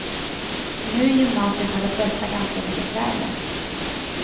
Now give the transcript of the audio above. Nu i gymnasiet har de flesta ganska lika kläder.